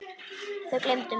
Þau gleymdu mér.